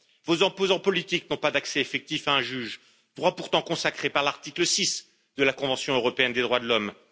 Vos opposants politiques n'ont pas d'accès effectif à un juge, droit pourtant consacré par l'article 6 de la Convention européenne des droits de l'homme.